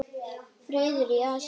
Friður í Asíu.